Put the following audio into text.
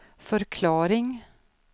förklaring